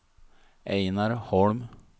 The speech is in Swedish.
Ejnar Holm